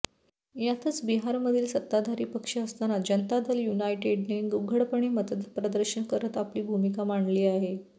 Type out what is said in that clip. यातच बिहारमधील सत्ताधारी पक्ष असणारा जनता दल यूनायटेडने उघडपणे मतप्रदर्शन करत आपली भूमिका मांडली आहे